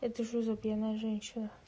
это что за пьяная женщина